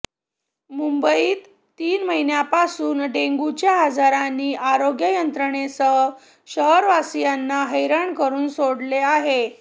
मुंबईत तीन महिन्यांपासून डेंग्यूच्या आजारांनी आरोग्य यंत्रणेसह शहरवासीयांना हैराण करून सोडले आहे